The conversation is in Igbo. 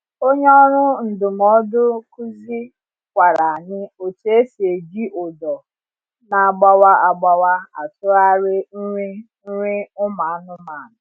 Onye ọrụ ndụmọdụ kuzi kwara anyi otu esi eji ụdọ na agbawa agbawa atụgharị nri nri ụmụ anụmanụ